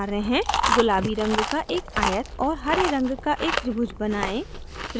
गुलाबी रंग का एक आयत और हरे रंग का एक त्रिभुज बनाएं